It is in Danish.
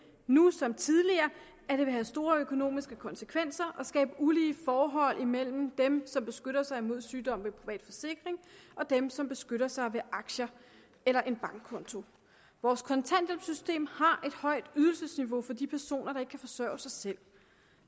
nu som tidligere at det vil have store økonomiske konsekvenser og skabe ulige forhold mellem dem som beskytter sig mod sygdom ved privat forsikring og dem som beskytter sig ved aktier eller en bankkonto vores kontanthjælpssystem har et højt ydelsesniveau for de personer der ikke kan forsørge sig selv